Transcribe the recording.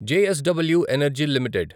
JSW energy limited